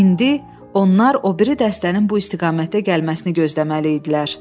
İndi onlar o biri dəstənin bu istiqamətdə gəlməsini gözləməli idilər.